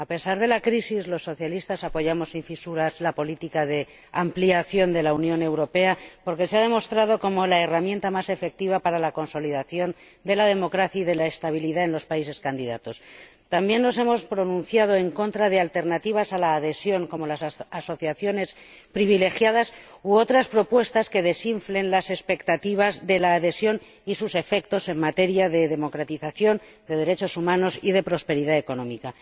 A pesar de la crisis, los socialistas apoyamos sin fisuras la política de ampliación de la Unión Europea, porque ha demostrado ser la herramienta más efectiva para la consolidación de la democracia y de la estabilidad en los países candidatos. También nos hemos pronunciado en contra de alternativas a la adhesión, como las asociaciones privilegiadas u otras propuestas que desinflen las expectativas de la adhesión y sus efectos en materia de democratización, de derechos humanos y de prosperidad económica.